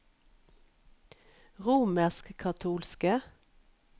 romerskkatolske